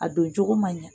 A don cogo man ɲa